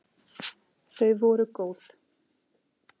Þau voru góð!